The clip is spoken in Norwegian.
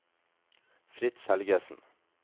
Fritz Helgesen